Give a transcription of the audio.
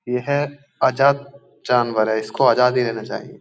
ये है आजाद जानवर है इसको आजादी ही देना चाहिए।